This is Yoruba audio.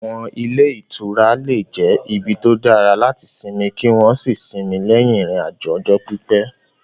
Àwọn ilé ìtura lè jẹ́ ibi tó dára láti sinmi kí wọ́n sì sinmi lẹ́yìn ìrìn-àjò ọjọ́ pípẹ́.